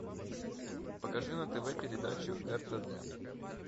покажи на тв передачу ртд